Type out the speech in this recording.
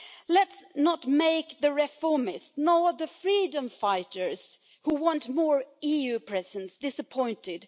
Let's not make the reformists or the freedom fighters who want more EU presence disappointed.